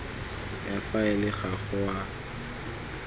ya faele ga go a